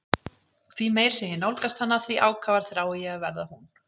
Og því meir sem ég nálgast hana því ákafar þrái ég að verða hún.